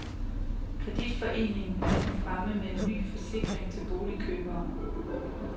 Kreditforeningen er nu fremme med en ny forsikring til boligkøbere.